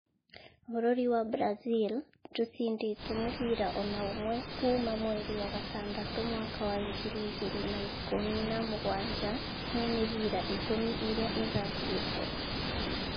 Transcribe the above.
Bũrũri wa Brazil ndũcindĩtwo mũbira o na ũmwe kuuma mweri wa gatandatu mwaka wa ngiri igĩrĩ na ikũmi na mugwanja he mĩbira ikũmi ĩria ĩthakĩtwo.